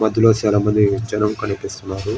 మధ్యలో చాలా మంది జనలు కానీపిస్తున్నారు.